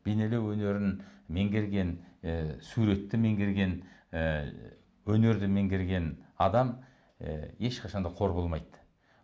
бейнелеу өнерін меңгерген і суретті меңгерген і өнерді меңгерген адам і ешқашан да қор болмайды